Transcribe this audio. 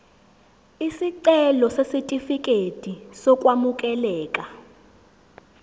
isicelo sesitifikedi sokwamukeleka